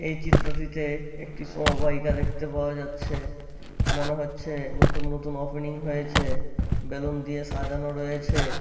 এই চিত্রটিতে একটি সমবায়িকা দেখতে পাওয়া যাচ্ছে। মনে হচ্ছে নতুন নতুন ওপেনিং হয়েছে। বেলুন দিয়ে সাজানো রয়েছে।